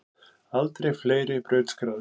Aldrei fleiri brautskráðir